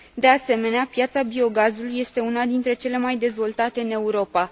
De asemenea, piața biogazului este una dintre cele mai dezvoltate în Europa.